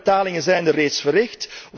Welke betalingen zijn er reeds verricht?